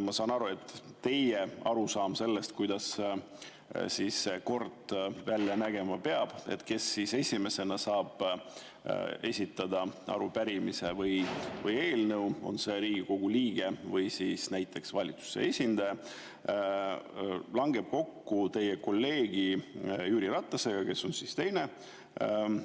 Ma saan aru, et teie arusaam sellest, kuidas see kord peab välja nägema – kes esimesena saab arupärimise või eelnõu esitada, on see Riigikogu liige või siis näiteks valitsuse esindaja –, langeb kokku teie kolleegi Jüri Ratase omaga, kes on